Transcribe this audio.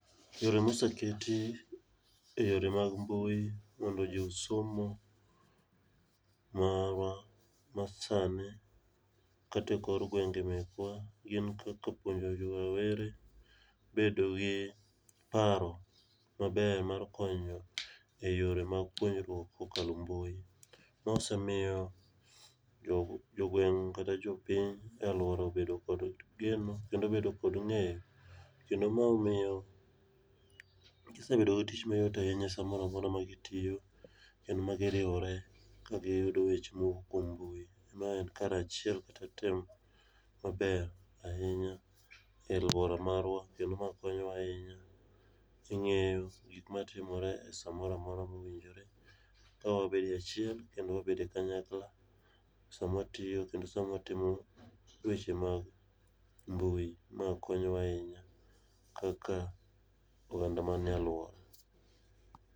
Yore moseketi eyore mag mbui mondo josomo marwa masani kata ekor gwenge mekwa gin kaka puojo jo rawere bedo gi paro maber mar konyo eyore mag puonjruok kokalo e mbui. Ma osemiyo jogweng' kata jopiny e aluora obedo kod geno kendo obedo kod ng'eyo kendo ma omiyo kisebedo gi tich mayot ahinya samoro amora magitiyo kendo ma giriwore kagiyudo weche mowuok kuom mbui mae en karachiel kata timo maber ahinya e aluora marwa kendo mae konyowa ahinya, ing'eyo gik matimore esaa moro amora mowinjore ka wabedo e achiel kendo wabedo e kanyakla sama watiyo kendo sama wabedo e kanyakla sama watiyo kendo sama watimo weche mag mbui. Ma konyowa ahinya kaka oganda man e aluor.